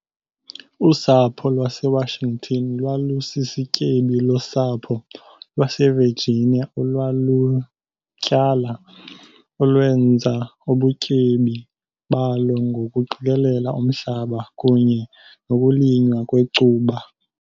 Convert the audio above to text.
Usapho lwaseWashington lwalusisityebi losapho lwaseVirginia olwalutyala olwenza ubutyebi balo ngokuqikelela umhlaba kunye nokulinywa kwecuba